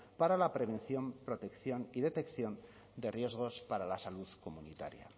para la prevención protección y detección de riesgos para la salud comunitaria